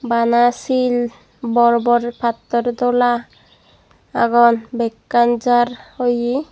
bana sil bor bor pattor dola agon bekkan jaar oye.